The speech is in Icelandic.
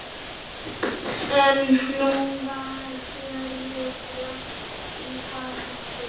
En nú var fjörið langt í frá búið.